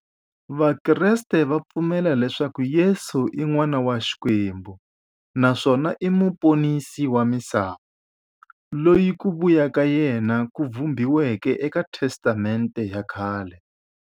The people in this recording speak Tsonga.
Vakreste va pfumela leswaku Yesu i n'wana wa Xikwembu naswona i muponisi wa misava, loyi ku vuya ka yena ku vhumbiweke eka Testamente ya khale.